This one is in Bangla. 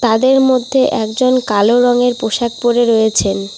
তাদের মধ্যে একজন কালো রঙের পোশাক পরে রয়েছেন।